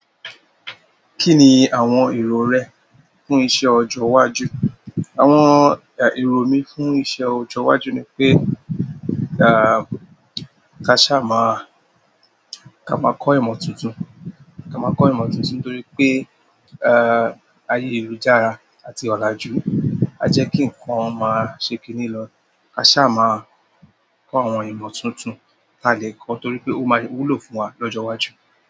Kí ni àwọn èrò rẹ fún iṣẹ́ ọjọ́ iwájú? Àwọn èrò mi fún iṣẹ́ ọjọ́ iwájú ni pé, à, ká sáà máa-- ká máa kọ́ ìmọ̀ tuntun. Ká máa kọ́ ìmọ̀ tuntun nítorí pé, ẹ, ayé lujára àti ọ̀làjú á jẹ́ kí ǹnkan máa ṣe kì ní lọ. Ka sáà máa kọ́ àwọn ìmọ̀ tuntun ka lè kọ́ torí pé ó máa wúlò fún wa lọ́jọ́ iwájú.